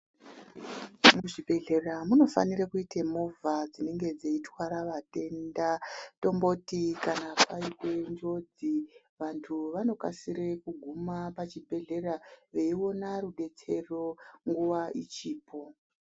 Muzvibhehlera munofanire kuita movha dzinenge dzeitwara vatenda tomboti kana paite njodzi vantu vanokasire kuguma pachibhehlera veiona rubetsero nguva ichipo